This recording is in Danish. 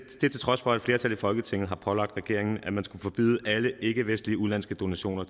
trods for at et flertal i folketinget og pålagde regeringen at man skulle forbyde alle ikkevestlige udenlandske donationer